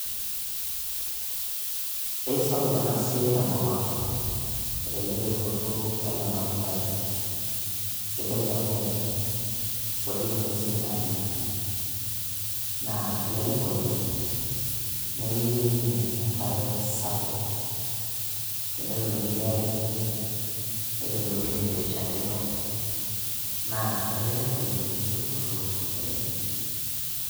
Eisapuk ena siai tenkop ang, elelek eunoto ele matundai. Sidai amu kutik ing'uesin naanya, naa elelek oleng nemeyieu ninye enkare sapuk. Tenetum enkiti are kiti, ne netum eweji nairishakino, naa elelek oleng eunoto enye.